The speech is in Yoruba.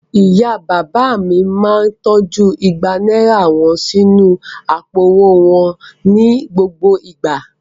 Ìyá-bàbá mi máa tọ́jú igba náírà wọn sínú àpò-owó wọn ní gbogbo ìgbà.